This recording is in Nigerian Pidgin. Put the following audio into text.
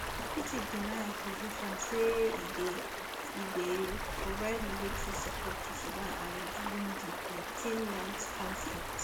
egypt deny accusations say e dey e dey provide military support to sudan army during di eighteenmonth conflict